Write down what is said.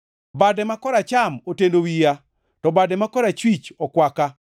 Bade ma koracham oteno wiya, to bade ma korachwich okwaka.